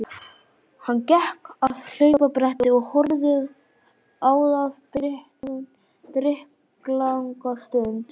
Hann gekk að hlaupabrettinu og horfði á það drykklanga stund.